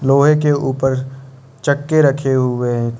लोहे के ऊपर चक्के रखे हुए हैं।